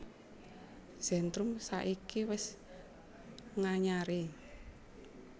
Zentrum saiki wis nganyari